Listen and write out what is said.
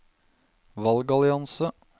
valgallianse